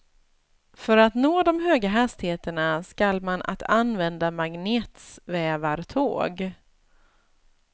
För att nå de höga hastigheterna skall man att använda magnetsvävartåg.